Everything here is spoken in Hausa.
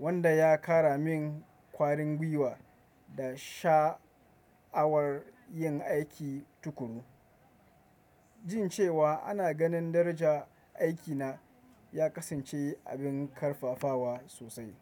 wanda ya kara min ƙwarin gwiwa da sha'awar yin aiki tuƙuru. Jin cewa ana ganin darajan aikina ya kasance abin karfafawa sosai.